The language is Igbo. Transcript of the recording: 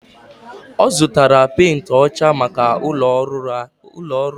O zutara penti ocha maka ulo ohuru ya.